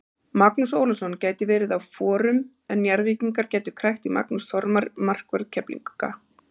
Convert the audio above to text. Magnús Ólafsson gæti verið á forum en Njarðvíkingar gætu krækt í Magnús Þormar markvörð Keflvíkinga.